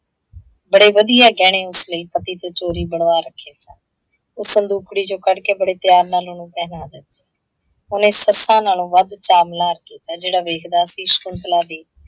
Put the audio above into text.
ਬੜੇ ਵਧੀਆ ਗਹਿਣੇ ਉਸ ਲਈ ਪਤੀ ਤੋਂ ਚੋਰੀ ਬਣਵਾ ਰੱਖੇ ਸਨ। ਓਹ ਸੰਦੂਕੜੀ ਚੋਂ ਕੱਢ ਕੇ ਬੜੇ ਪਿਆਰ ਨਾਲ ਉਹਨੂੰ ਪਹਿਨਾ ਦਿੰਦੀ ਹੈ। ਉਹਨੇ ਸੱਸਾਂ ਨਾਲੋਂ ਵੱਧ ਚਾਅ ਮਲ੍ਹਾਰ ਕੀਤਾ, ਜਿਹੜਾ ਵੇਖਦਾ ਸੀ ਸ਼ਕੁੰਤਲਾ ਦੀ